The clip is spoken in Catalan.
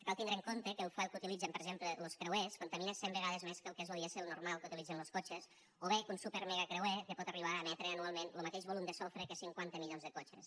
cal tindre en compte que el fuel que utilitzen per exemple los creuers contamina cent vegades més que el que és lo dièsel normal que utilitzen los cotxes o bé que un supermegacreuer pot arribar a emetre anualment lo mateix volum de sofre que cinquanta milions de cotxes